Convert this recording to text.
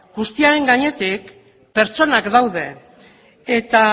guztiaren gainetik pertsonak daude eta